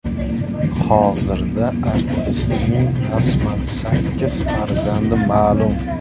Hozirda artistning rasman sakkiz farzandi ma’lum.